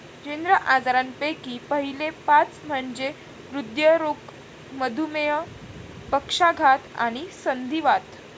जीर्ण आजारांपैकी पहिले पाच म्हणजे हृदयरोग, मधुमेह, पक्षाघात, आणि संधिवात.